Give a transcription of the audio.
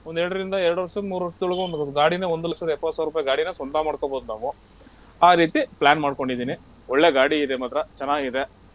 ಒಂದ್ ಎರಡ್ರಿಂದ ಎರಡ್ ವರ್ಷದ್ ಮೂರ್ ವರ್ಷದೊಳಗ್ ಒಂದ್ ಗಾಡಿನ ಒಂದ್ ಲಕ್ಷದ್ ಎಪ್ಪತ್ತ್ ಸಾವ್ರುಪೈ ಗಾಡಿನ ಸ್ವಂತ ಮಾಡ್ಕೊಬಹುದ್ ನಾವು. ಆ ರೀತಿ plan ಮಾಡ್ಕೊಂಡಿದ್ದೀನಿ ಒಳ್ಳೆ ಗಾಡಿ ಇದೆ ಮಾತ್ರ ಚನ್ನಾಗಿದೆ.